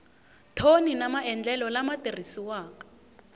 thoni na maendlelo lama tirhisiwaka